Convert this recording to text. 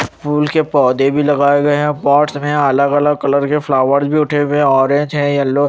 फूल के पोधे भी लगाये गये है पार्ट्स में अलग अलग कलर के फ्लावर भी ऑरेंज है येलो --